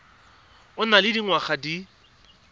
o nang le dingwaga di